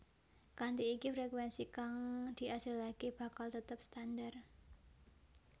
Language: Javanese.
Kanthi iki frekuénsi kang diasilaké bakal tetep standar